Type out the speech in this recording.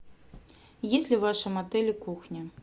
есть ли в вашем отеле кухня